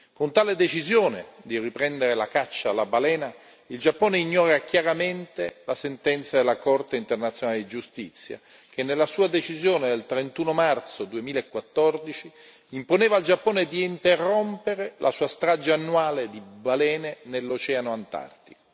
Con tale decisione di riprendere la caccia alla balena, il Giappone ignora chiaramente la sentenza della Corte internazionale di giustizia che, nella sua decisione del 31 marzo 2014, imponeva al Giappone di interrompere la sua strage annuale di balene nell'Oceano Antartico.